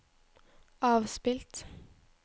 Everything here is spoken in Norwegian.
avspilt